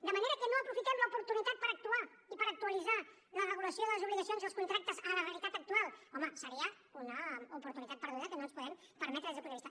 de manera que no aprofitem l’oportunitat per actuar i per actualitzar la regulació de les obligacions i els contractes a la realitat actual home seria una oportunitat perduda que no ens podem permetre des del meu punt de vista